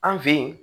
An fe yen